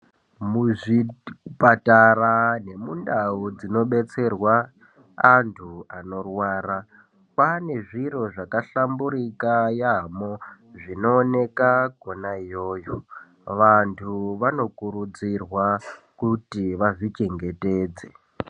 Muzvipatara nemundau dzino detserwa antu anorwara kwane zviro zvaka hlamburuka yambo zvino onekwa kona iyoyo vantu vano kurudzirwa kuti vazvi chengetedze.